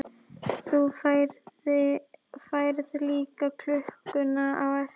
Þú færð líka klukkuna á eftir.